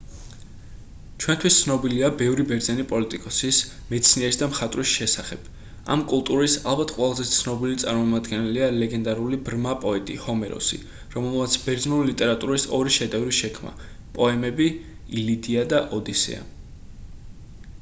ჩვენთვის ცნობილია ბევრი ბერძენი პოლიტიკოსის მეცნიერის და მხატვარის შესახებ ამ კულტურის ალბათ ყველაზე ცნობილი წარმომადგენელია ლეგენდარული ბრმა პოეტი ჰომეროსი რომელმაც ბერძნული ლიტერატურის ორი შედევრი შექმნა პოემები ილიადა და ოდისეა